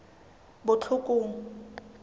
botlhokong